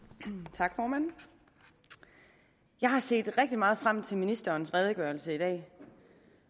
tak formand jeg har set rigtig meget frem til ministerens redegørelse i dag